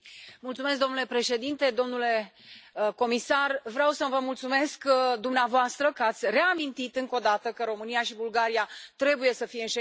Domnule președinte, domnule comisar, vreau să vă mulțumesc dumneavoastră că ați reamintit încă o dată că România și Bulgaria trebuie să fie în Schengen.